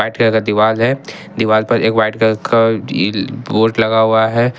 White colour का दीवार है दीवार पर एक व्हाइट कलर का बोर्ड लगा हुआ है।